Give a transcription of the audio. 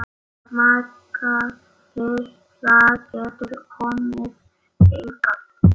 Magga litla getur komið hingað.